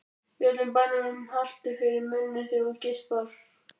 Í öllum bænum haltu fyrir munninn þegar þú geispar.